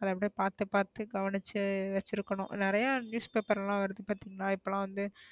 அத அப்டியே பாத்து பாத்து கவனிச்சு வச்சிருக்கணும் நிறைய newspaper லாம் வருது பாத்தீங்களா இப்ப லாம் வந்து,